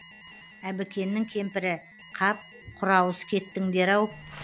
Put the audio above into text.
әбікеннің кемпірі қап құрауыз кеттіңдер ау